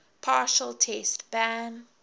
partial test ban